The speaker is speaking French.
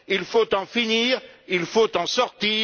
Il faut en finir, il faut en sortir.